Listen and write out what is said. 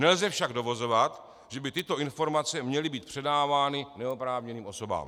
Nelze však dovozovat, že by tyto informace měly být předávány neoprávněným osobám.